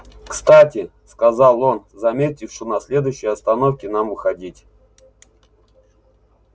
кстати сказал он заметив что на следующей остановке нам выходить